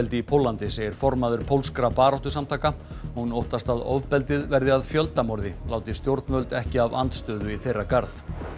í Póllandi segir formaður pólskra baráttusamtaka hún óttast að ofbeldið verði að láti stjórnvöld ekki af andstöðu í þeirra garð